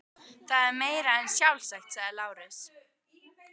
Það er meira en sjálfsagt, sagði Lárus.